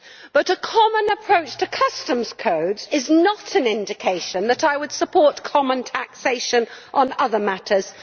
However, a common approach to customs code is not an indication that I would support common taxation on other matters.